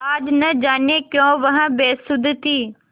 आज न जाने क्यों वह बेसुध थी